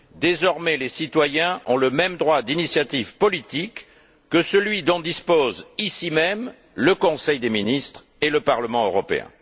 Désormais, les citoyens ont le même droit d'initiative politique que celui dont disposent ici même le Conseil des ministres et le Parlement européen.